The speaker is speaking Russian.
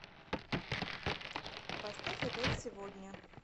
поставь опять сегодня